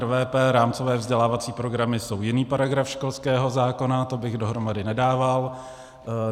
RVP, rámcové vzdělávací programy, jsou jiný paragraf školského zákona, to bych dohromady nedával.